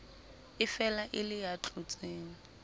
efela e le ya tlotseng